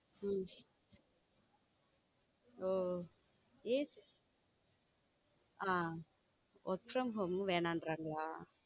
Um oh hmm work from home வேணாங்குறாங்களா.